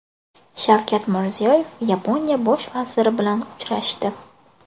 Shavkat Mirziyoyev Yaponiya bosh vaziri bilan uchrashdi .